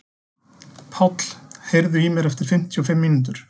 Páll, heyrðu í mér eftir fimmtíu og fimm mínútur.